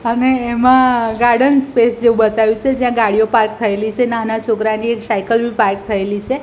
અને એમા garden space જેવુ બતાયુ સે જ્યાં ગાડીઓ પાર્ક થયેલી છે નાના છોકરાની એક સાઇકલ બી પાર્ક થયેલી છે.